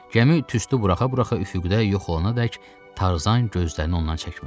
Gəmi tüstü buraxa-buraxa üfüqdə yox olana dək Tarzan gözlərini ondan çəkmədi.